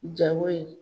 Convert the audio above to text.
Jago in